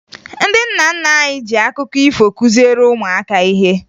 Ndị nna nna anyị ji akụkọ ifo kụziere ụmụaka ihe